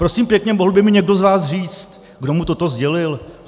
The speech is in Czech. Prosím pěkně, mohl by mi někdo z vás říct, kdo mu toto sdělil?